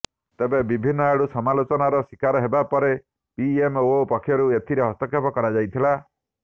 ତେବେ ବିଭିନ୍ନଆଡ଼ୁ ସମାଲୋଚନାର ଶିକାର ହେବା ପରେ ପିଏମଓ ପକ୍ଷରୁ ଏଥିରେ ହସ୍ତକ୍ଷେପ କରାଯାଇଥିଲା